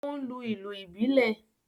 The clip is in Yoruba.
O n lu ìlú ibilẹ